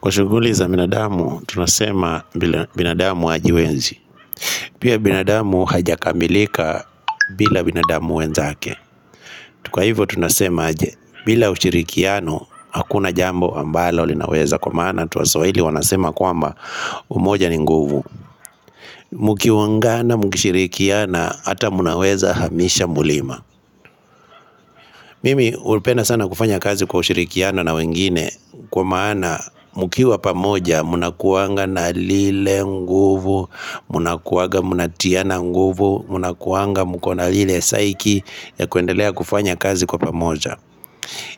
Kwa shuguli za binadamu, tunasema binadamu hajiwezi. Pia binadamu hajakamilika bila binadamu wenzake. Kwahivyo tunasema aje, bila ushirikiano, hakuna jambo ambalo linaweza kwa maana watu wa swahili wanasema kwamba umoja ni nguvu. Mukiungana, muki shirikiana, ata munaweza hamisha mulima. Mimi hupenda sana kufanya kazi kwa ushirikiano na wengine kwa maana mkiwa pamoja mna kuanga na lile nguvu, mna kuanga mna tiana nguvu, mna kuanga mka na lile saiki ya kuendelea kufanya kazi kwa pamoja.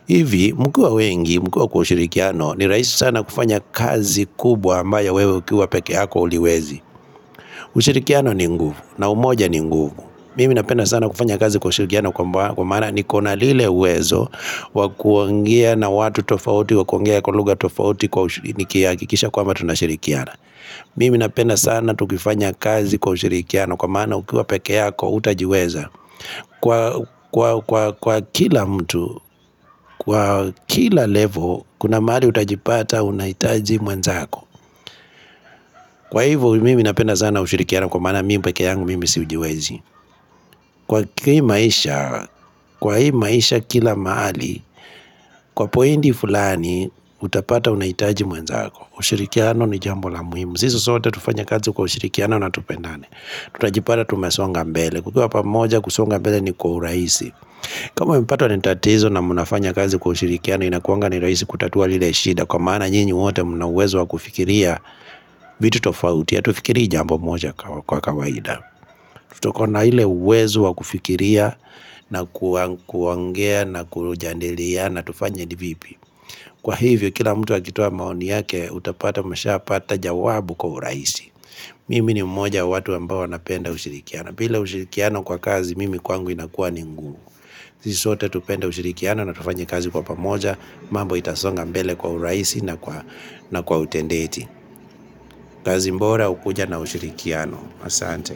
Hivi mkiwa wengi mkiwa kwa ushirikiano ni raisi sana kufanya kazi kubwa ambayo wewe ukiwa pekeyako uliwezi. Ushirikiano ni nguvu na umoja ni nguvu Mimi napenda sana kufanya kazi kwa usirikiano kwa maana nikona lile uwezo Wakuongea na watu tofauti wakuongea kwa lugha tofauti kwa ushirikia nihakisha kwamba tunasirikiana Mimi napenda sana tukifanya kazi kwa usirikiano kwa maana ukiwa peke yako utajiweza Kwa kila mtu, kwa kila level kuna mahali utajipata unahitaji mwenzako Kwa hivyo mimi napenda sana ushirikiano kwa maana mimi peke yangu mimi sijiwezi Kwa hii maisha, kwa hii maisha kila mahali Kwa pointi fulani utapata unahitaji mwenzako ushirikiano ni jambo la muhimu Sisi sote tufanye kazi kwa ushirikiano natupendane Tutajipala tumesonga mbele tukiwa pamoja kusonga mbele ni kwa urahisi kama umepato ni tatizo na munafanya kazi kwa ushirikiano Inakuanga ni raisi kutatua lile shida Kwa maana nyinyi wote mnauwezo wa kufikiria vitu tofautia hatufikiri jambo moja kwa kawaida. Tukona ile uwezo wa kufikiria na kuongea na kujandilia na tufanye ni vipi. Kwa hivyo, kila mtu akitoa maoni yake, utapata mshapata jawabu kwa urahisi. Mimi ni mmoja watu ambao napenda ushirikiano. Bila ushirikiano kwa kazi, mimi kwangu inakua ingumu. Sisi sote tupenda ushirikiano na tufanye kazi kwa pamoja, mambo itasonga mbele kwa uraisi na kwa utendeji. Kazi bora hukuja na ushirikiano. Asante.